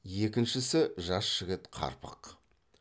екіншісі жас жігіт қарпақ